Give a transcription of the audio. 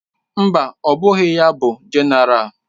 Mba, ọ bụghị ya bụ Jenéral.